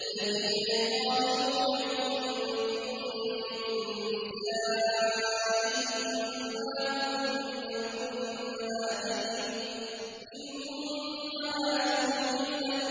الَّذِينَ يُظَاهِرُونَ مِنكُم مِّن نِّسَائِهِم مَّا هُنَّ أُمَّهَاتِهِمْ ۖ إِنْ أُمَّهَاتُهُمْ إِلَّا